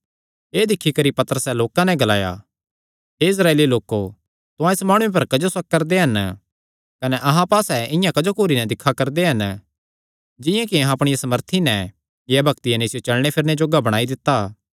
एह़ दिक्खी करी पतरसैं लोकां नैं ग्लाया हे इस्राएली लोको तुहां इस माणुये पर क्जो शक करदे हन कने अहां पास्से इआं क्जो घूरी नैं दिक्खा करदे हन जिंआं कि अहां अपणिया सामर्थी नैं या भक्तिया नैं इसियो चलणे फिरणे जोग्गा बणाई दित्ता